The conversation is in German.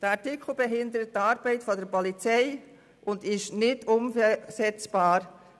Der Artikel behindert die Arbeit der Polizei und ist nicht umsetzbar.